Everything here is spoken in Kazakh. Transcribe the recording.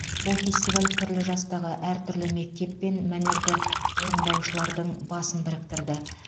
бұл фестиваль түрлі жастағы әртүрлі мектеп пен мәнерді орындаушылардың басын біріктірді